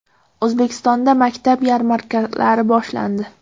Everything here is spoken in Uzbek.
O‘zbekistonda maktab yarmarkalari boshlandi.